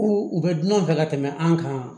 U u bɛ dunanw fɛ ka tɛmɛ an kan